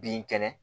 Bin kɛnɛ